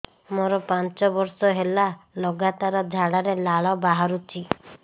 ମୋରୋ ପାଞ୍ଚ ବର୍ଷ ହେଲା ଲଗାତାର ଝାଡ଼ାରେ ଲାଳ ବାହାରୁଚି